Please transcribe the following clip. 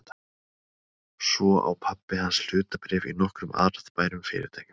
Svo á pabbi hans hlutabréf í nokkrum arðbærum fyrirtækjum.